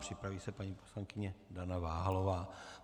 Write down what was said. Připraví se paní poslankyně Dana Váhalová.